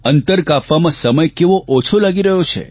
અંતર કાપવામાં સમય કેવો ઓછો લાગી રહ્યો છે